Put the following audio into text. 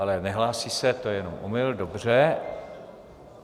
Ale nehlásí se, to je jenom omyl, dobře.